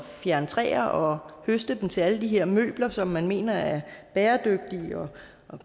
fjerne træer og høste dem til alle de her møbler som man mener er bæredygtige og